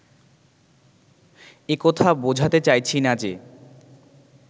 এ-কথা বোঝাতে চাইছি না যে